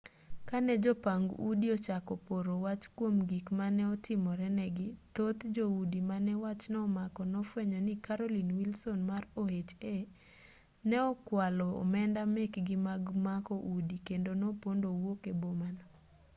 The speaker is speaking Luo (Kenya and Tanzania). kane jopang udi ochako poro wach kuom gik mane otimore ne gi thoth joudi mane wachno omako nofuenyo ni carolyn wilson mar oha ne okwalo omenda mekgi mag mako udi kendo nopondo owuok e boma no